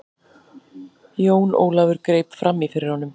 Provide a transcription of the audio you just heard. Jón Ólafur greip framí fyrir honum.